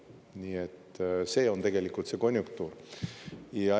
Nii et see on tegelikult see konjunktuur.